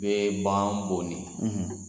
Bɛɛ b'an bone